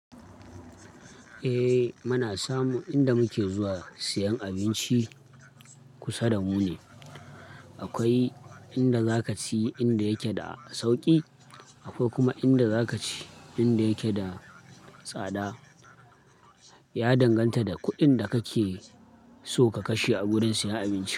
Eh muna samu inda muke zuwa siyan abinci kusa da mu ne. Akwai inda za ka ci inda yake da sauƙi, akwai kuma inda za ka ci inda yake da tsada. Ya danganta da kuɗin da kake so ka kashe a gurin siyan abinci.